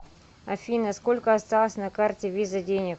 афина сколько осталось на карте виза денег